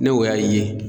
Ne o y'a ye